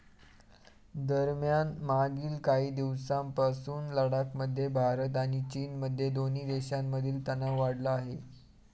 दरम्यान, मागील काही दिवसांपासून लडाखमध्ये भारत आणि चीनमध्ये दोन्ही देशांमधील तणाव वाढला आहे.